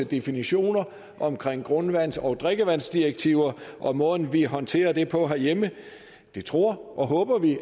definitioner omkring grundvands og drikkevandsdirektiver og måden vi håndterer det på herhjemme det tror og håber vi